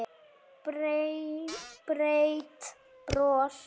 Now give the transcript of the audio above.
Breitt bros.